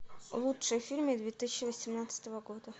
лучшие фильмы две тысячи восемнадцатого года